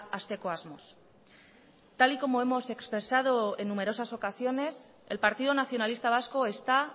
hasteko asmoz tal y como hemos expresado en numerosas ocasiones el partido nacionalista vasco está